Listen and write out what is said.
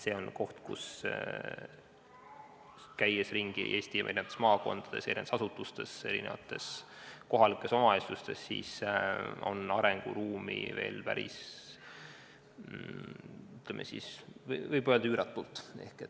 See on koht, milles Eesti eri maakondades ja eri asutustes, eri kohalikes omavalitsustes on arenguruumi veel päris palju, võib isegi öelda, et üüratult.